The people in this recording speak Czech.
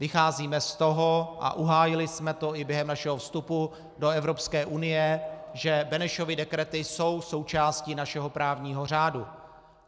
Vycházíme z toho a uhájili jsme to i během našeho vstupu do Evropské unie, že Benešovy dekrety jsou součástí našeho právního řádu.